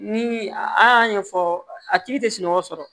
Ni an y'a ɲɛfɔ a tigi tɛ sunɔgɔ sɔrɔ